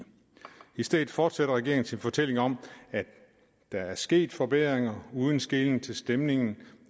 stedet fortsætter regeringen sin fortælling om at der er sket forbedringer uden skelen til stemningen